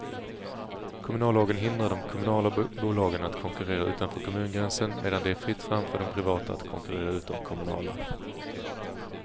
Kommunallagen hindrar de kommunala bolagen att konkurrera utanför kommungränsen medan det är fritt fram för de privata att konkurrera ut de kommunala.